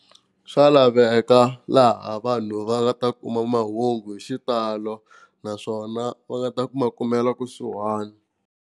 Swa laveka laha vanhu va nga ta kuma mahungu hi xitalo naswona va nga ta ku ma kumela kusuhani.